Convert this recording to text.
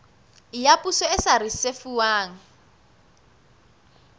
ya poso e sa risefuwang